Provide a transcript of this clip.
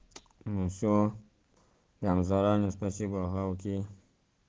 ну всё я вам заранее спасибо ага окей